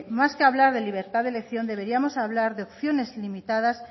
más que hablar de libertad de elección deberíamos hablar de opciones ilimitadas